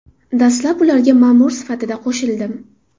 Dastlab ularga ma’mur sifatida qo‘shildim.